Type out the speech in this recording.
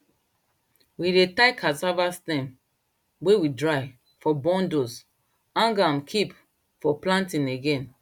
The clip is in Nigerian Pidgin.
we dey tie cassava sterm wey we dry for bundles hang am kip for planting again